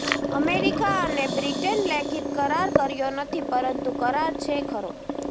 America અને Britain લેખિત કરાર કર્યો નથી પરંતુ કરાર છે ખરો